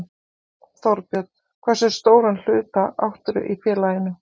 Þorbjörn: Hversu stóran hluta áttirðu í félaginu?